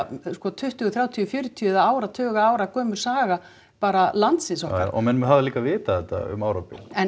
sko tuttugu þrjátíu fjörutíu eða áratuga gömul saga bara landsins okkar og menn hafa líka vitað þetta um árabil en